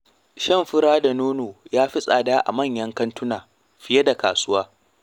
Shan fura da nono ya fi tsada a manyan kantuna fiye da kasuwa.